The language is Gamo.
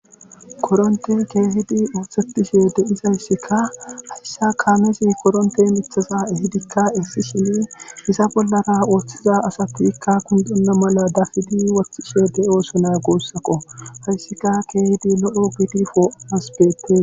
Korontte keehizi osetizaysikka hayssi kamezi korente diya miththata ehidikka essishinni iza bollakka oothiza asatikka konddona mala dafishe wothosona guussako hayssikka keehidi lo'o gidi po'anas maadees.